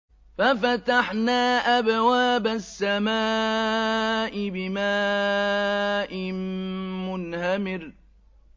فَفَتَحْنَا أَبْوَابَ السَّمَاءِ بِمَاءٍ مُّنْهَمِرٍ